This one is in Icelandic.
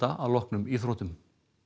að loknum íþróttum